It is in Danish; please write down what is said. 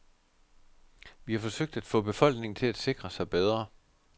Vi har forsøgt at få befolkningen til at sikre sig bedre.